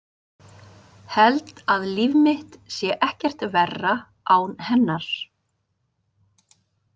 Held að líf mitt sé ekkert verra án hennar.